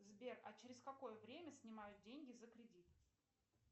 сбер а через какое время снимают деньги за кредит